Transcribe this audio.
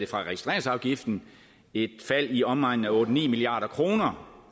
fra registreringsafgiften et fald i omegnen af otte ni milliard kroner